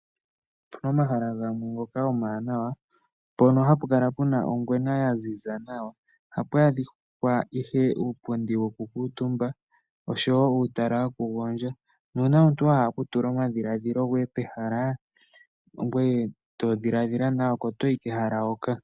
Opuna omahala gamwe ngoka omawanawa mpono hapu kala puna ongwena yaziza nawa. Ohapu adhika. ihe uupundi woku kuutumba oshowo uutalala woku gondja. Nuuna omuntu ahala oku tula omadhidhiliko pehala. Ngweye to dhiladhila nawa.